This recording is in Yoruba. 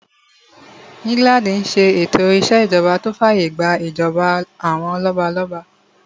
England n ṣe ètò ìṣèjọba tó fàyè gbà ìjọba àwọn lọ́balọ́ba